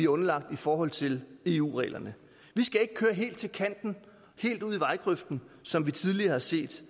underlagt i forhold til eu reglerne vi skal ikke køre helt til kanten helt ud i vejgrøften som vi tidligere har set